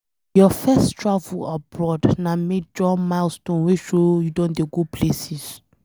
Your first travel abroad na major milestone wey show say you don dey go places.